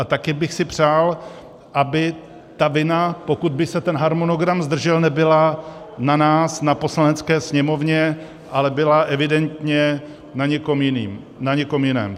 A taky bych si přál, aby ta vina, pokud by se ten harmonogram zdržel, nebyla na nás, na Poslanecké sněmovně, ale byla evidentně na někom jiném.